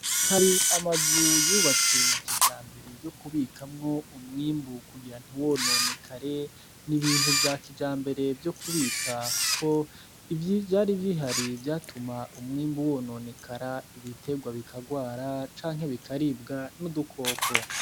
Hari Amazu Yubatswe Kijambere Yo Kubikamwo Umwimbu Kugira Ntiwononekare, N'Ibintu Vya Kijambere Vyo Kubika Kuko Ivyari Bihari Vyatuma Umwimbu Wononekara, Ibiterwa Bikagwara Canke Bikaribwa N'Udukoko.